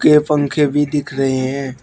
ये पंखे भी दिख रहे हैं।